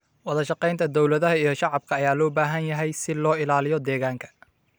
Wada shaqeynta dowladaha iyo shacabka ayaa loo baahan yahay si loo ilaaliyo deegaanka.